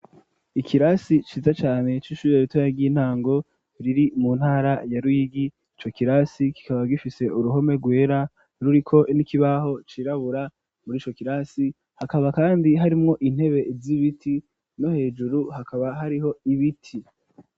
Ikirasi ciza cane c'ishuri ritoya ry'intango riri mu ntara ya Ruyigi, ico kirasi kikaba gifise uruhome rwera ruriko n'ikibaho cirabura, muri ico kirasi hakaba kandi harimwo intebe z'ibiti, no hejuru hakaba hariho ibiti.